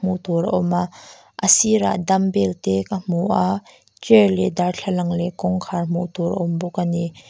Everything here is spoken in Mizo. hmuh tur a awm a a sirah dumbell te ka hmu a chair leh darthlalang leh kawngkhar hmuh tur a awm bawk ani.